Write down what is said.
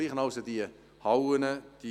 Hier ist die Situation genau gleich.